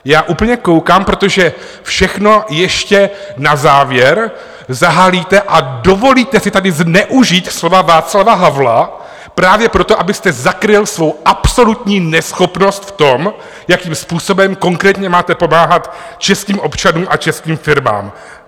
Já úplně koukám, protože všechno ještě na závěr zahalíte a dovolíte si tady zneužít slova Václava Havla právě proto, abyste zakryl svou absolutní neschopnost v tom, jakým způsobem konkrétně máte pomáhat českým občanům a českým firmám.